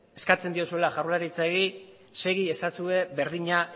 segi ezazue berdina